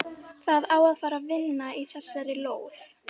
Það á að fara að vinna í þessari lóð.